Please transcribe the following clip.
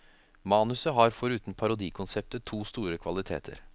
Manuset har foruten parodikonseptet to store kvaliteter.